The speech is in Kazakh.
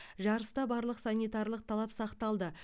жарыста барлық санитарлық талап сақталды